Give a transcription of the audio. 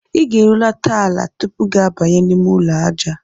Ị ga-ehulata ala tupu gị abanye n'ime ụlọ aja.